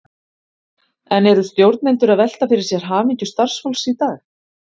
En eru stjórnendur að velta fyrir sér hamingju starfsfólks í dag?